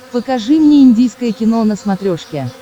покажи мне индийское кино на смотрешке